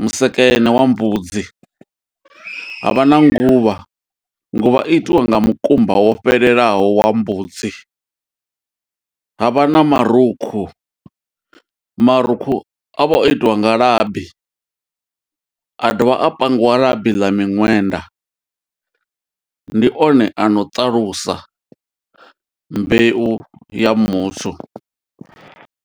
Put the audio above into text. musekene wa mbudzi. Havha na nguvha, nguvha itiwa nga mukumba wo fhelelaho wa mbudzi. Havha na marukhu, marukhu a vha o itiwa nga labi, a dovha a pangiwa labi ḽa miṅwenda. Ndi one ano ṱalusa mbeu ya muthu.